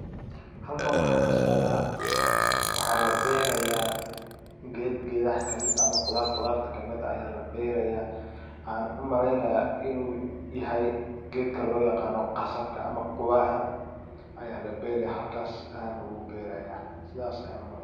Halkan waxaa kasocda waxaa labeeraya geed geedaha kamid eh ama qudarta qudar kamid aya labeeraya waxaan u maleynaya inu yahay geedka looyaqano qasabka ama quwaxa aya laberaya halkas ayana lagu beeraya sidas ayan u malen.